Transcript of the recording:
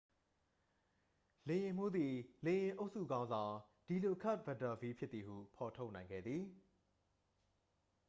လေယာဉ်မှူးသည် လေယာဉ်အုပ်စုခေါင်းဆောင် ဒီလိုကာ့တ်ပက်တာဗီး ဖြစ်သည်ဟု ဖော်ထုတ်နိုင်ခဲ့သည်